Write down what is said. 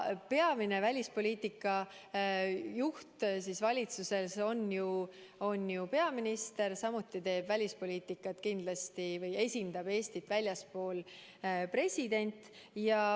Peamine välispoliitika juht valitsuses on ju peaminister, samuti teeb välispoliitikat või esindab Eestit väljaspool president.